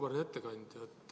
Auväärt ettekandja!